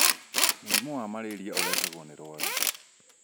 Mũrimũ wa malaria ũrehagwo nĩ rwagĩ.